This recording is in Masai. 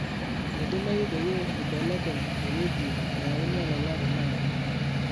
meidimayiu peyie ibelekeny ewueji nayauni olala tenakata